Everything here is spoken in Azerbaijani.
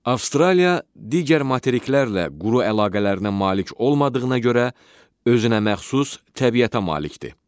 Avstraliya digər materiklərlə quru əlaqələrinə malik olmadığına görə özünə məxsus təbiətə malikdir.